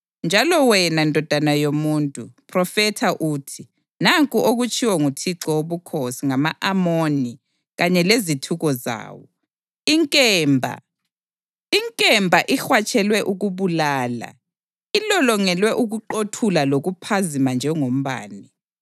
Njalo wena, ndodana yomuntu, phrofetha uthi, ‘Nanku okutshiwo nguThixo Wobukhosi ngama-Amoni kanye lezithuko zawo: Inkemba, inkemba, ihwatshelwe ukubulala, ilolongelwe ukuqothula lokuphazima njengombane!